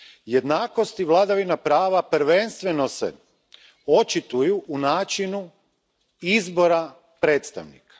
Jednakost i vladavina prava prvenstveno se očituju u načinu izbora predstavnika.